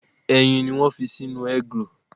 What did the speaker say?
Ẹyin ni wọ́n ń fi sínú egg roll.